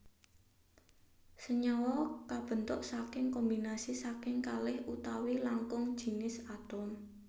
Senyawa kabentuk saking kombinasi saking kalih utawi langkung jinis atom